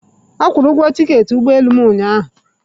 Akwụụrụ ugwo tiketi ụgbọ elu m ụnyaahụ.